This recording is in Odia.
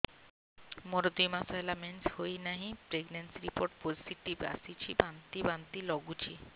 ମୋର ଦୁଇ ମାସ ହେଲା ମେନ୍ସେସ ହୋଇନାହିଁ ପ୍ରେଗନେନସି ରିପୋର୍ଟ ପୋସିଟିଭ ଆସିଛି ବାନ୍ତି ବାନ୍ତି ଲଗୁଛି